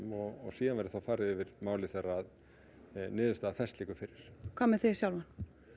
og svo verði farið yfir málið þegar niðurstaða þess liggur fyrir hvað með þig sjálfan